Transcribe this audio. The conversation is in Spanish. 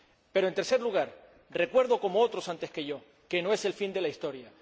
Pero, en tercer lugar, recuerdo, como otros antes que yo, que no es el fin de la historia.